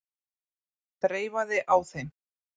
Þreifaði á þeim.